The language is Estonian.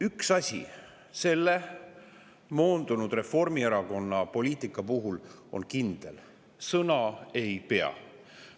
Üks asi selle moondunud Reformierakonna poliitika puhul on kindel: sõna ei pea.